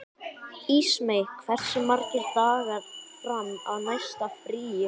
Ísmey, hversu margir dagar fram að næsta fríi?